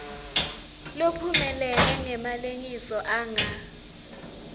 lophumelele ngemalengiso anga